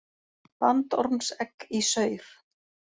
Bandormsegg í saur.